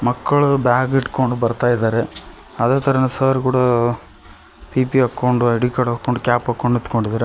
ಮಕ್ಕಳು ಬ್ಯಾಗ್ ಹಿಡ್ಕೊಂಡು ಬರ್ತಾ ಇದ್ದಾರೆ ಅದೇತರ ಸರ್ ಕೂಡ ಪಿಪಿ ಹಾಕೊಂಡು ಐ_ಡಿ ಕಾರ್ಡ್ ಹಾಕೊಂಡು ಕ್ಯಾಪ್ ಹಾಕ್ಕೊಂಡು ನಿಂತ್ಕೊಂಡಿದ್ದಾರೆ.